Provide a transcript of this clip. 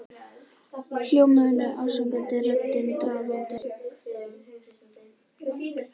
Hljómurinn er ásakandi og röddin drafandi.